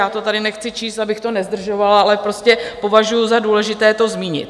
Já to tady nechci číst, abych to nezdržovala, ale prostě považuji za důležité to zmínit.